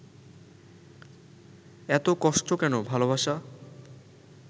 এত কষ্ট কেন ভালোবাসা?